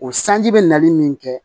O sanji bɛ nali min kɛ